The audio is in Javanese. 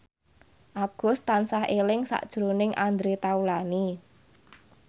Agus tansah eling sakjroning Andre Taulany